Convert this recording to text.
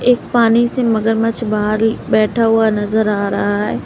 एक पानी से मगरमच्छ बाहर बैठा हुआ नज़र आ रहा है।